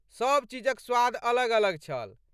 सब चीजक स्वाद अलग अलग छल।